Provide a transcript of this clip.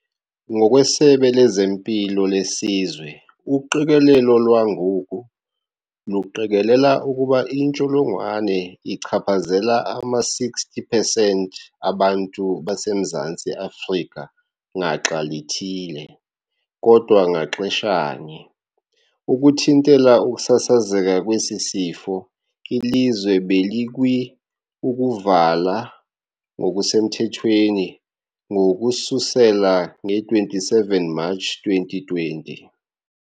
Ngokwesebe lezeMpilo leSizwe, "uqikelelo lwangoku luqikelela ukuba intsholongwane ichaphazela ama-60 pesenti abantu baseMzantsi Afrika ngaxa lithile, kodwa ngaxeshanye". Ukuthintela ukusasazeka kwesi sifo, ilizwe belikwi ukuvalwa ngokusemthethweni ngokususela nge-27 Matshi 2020.